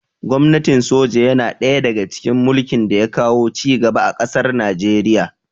Gwamnatin soja yana ɗaya daga cikin mulkin da ya kawo ci gaba a ƙasar Nijeriya